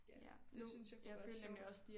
Ja det synes jeg kunne være sjovt